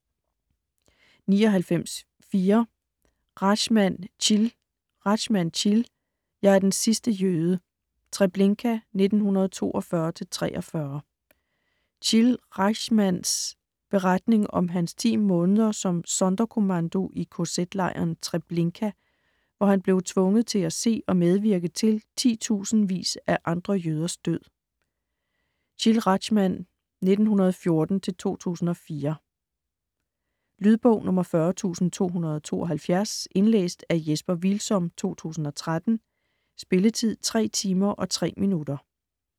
99.4 Rajchman, Chil Rajchman, Chil: Jeg er den sidste jøde: Treblinka 1942-1943 Chil Rajchmans (1914-2004) beretning om hans 10 måneder som Sonderkommando i kz-lejren Treblinka, hvor han blev tvunget til at se og medvirke til titusindevis af andre jøders død. Lydbog 40272 Indlæst af Jesper Hvilsom, 2013. Spilletid: 3 timer, 3 minutter.